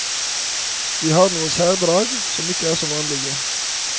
De har noen særdrag som ikke er så vanlige.